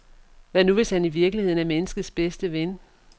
Hvad nu, hvis han i virkeligheden er menneskets bedste ven?